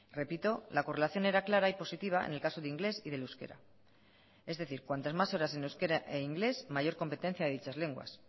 repito la correlación era clara y positiva en el caso de inglés y del euskera es decir cuantas más horas en euskera e inglés mayor competencia de dichas lenguas